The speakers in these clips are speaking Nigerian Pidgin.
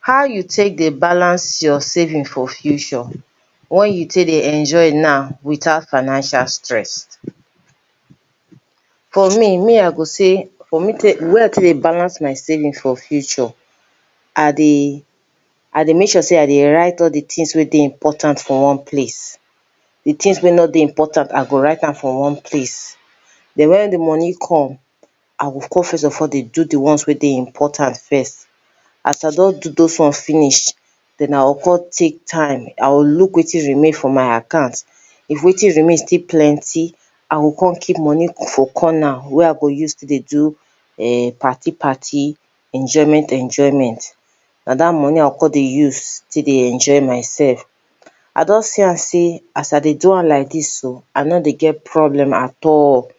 How you take dey balance your saving for future, wey you take dey enjoy now without financial stress For me, me I go say, the way wey I take dey balance my saving for future, I dey I dey make sure sey I dey write all the things wey dey important for one place. The things wey no dey important I go write am for one place. Den when de money come, I go come first of all dey do de ones wey dey important first. As I don do those one finish, den I go come take time, I go look wetin remain for my account. If wetin remain still plenty, I go come keep money for corner wey I go use take dey do um party party, enjoyment- njoyment. Na dat money I go come dey use take dey enjoy myself. I don see am sey as I dey do am like dis so, I no dey get problem at all.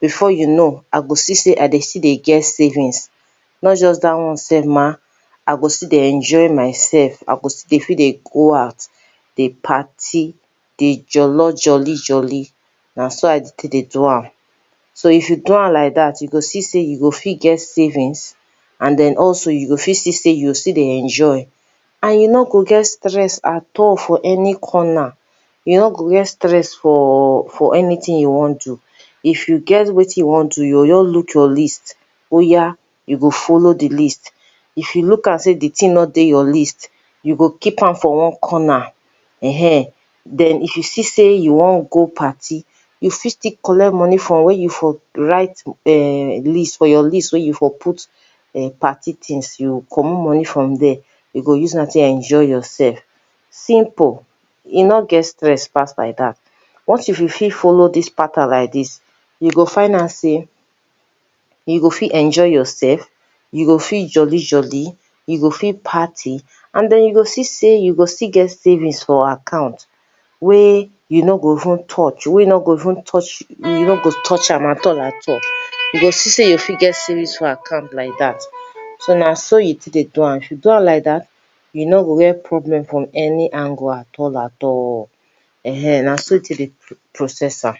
Before you know, I go see sey I dey still dey get savings. Not just dat one sef mah, I go still dey enjoy myself, I go still dey fit dey go out, dey party, dey jollor jolly-jolly. Na so I dey take dey do am. So, if you do am like dat, you go see sey you go fit get savings, and then, also, you go fit see sey you go still dey enjoy. And you no go get stress at all for any corner. You no go get stress for for anything you wan do. If you get wetin you wan do, you go just look your list. Oya, you go follow de list. If you look am sey de thing no dey your list, you go keep am for one corner. um Den, if you see sey you wan go party, you fit still collect money for where you for write um list for your list wey you for put um party things. You go comot money from there, you go use am take enjoy yourself. Simple! E no get stress pass like dat. Once if you fit follow dis pattern like dis, you go find out sey you go fit enjoy yourself, you go fit jolly jolly, you go fit party, and den, you go see sey you go still get savings for account wey you no go even touch, wey no go even touch, you no go touch am at all at all. You go see sey you fit get savings for account like dat. So, na so you take dey do am. If you do am like dat, you no go get problem from any angle at all at all. um Na so you take dey process am